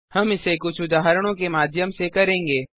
हम इसे कुछ उदाहरणों के माध्यम से करेंगे